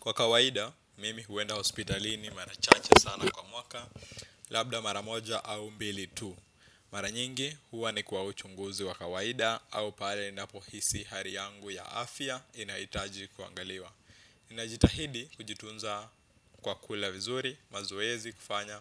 Kwa kawaida, mimi huenda hospitalini mara chache sana kwa mwaka, labda mara moja au mbili tu. Mara nyingi, huwa ni kwa uchunguzi wa kawaida au pale ninapohisi hali yangu ya afya inahitaji kuangaliwa. Ninajitahidi kujitunza kwa kula vizuri, mazoezi kufanya,